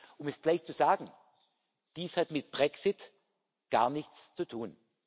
Um es gleich zu sagen Dies hat mit dem Brexit gar nichts zu tun.